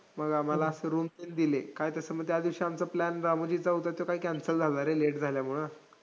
मग आम्हाला असं room पण दिली. काय त्याच्यामुळे आमचा plan रामोजीचा होता त्यो काय cancel झाला रे late झाल्यामुळं